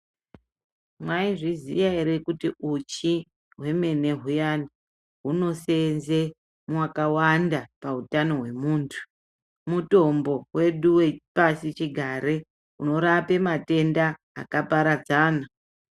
Mwaizviziya ere kuti uchi hwemene huyani hunoseenze makawanda pautano hwemuntu . Mutombo wedu wepasi chigare unorape matenda akaparadzana .